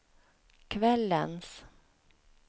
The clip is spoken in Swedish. kvällens